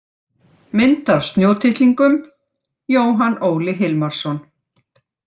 Mynd af snjótittlingum: Jóhann Óli Hilmarsson.